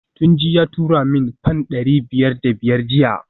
Tunji ya turo min fam dari biyar da biyar jiya